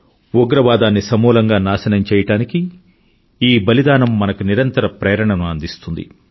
ఉగ్రవాదాన్ని సమూలంగా నాశనం చెయ్యడానికి ఈ బలిదానం మనకు నిరంతరం ప్రేరణను అందిస్తుంది